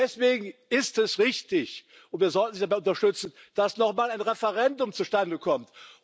Deswegen ist es richtig und wir sollten sie dabei unterstützen dass noch mal ein Referendum zustande kommt.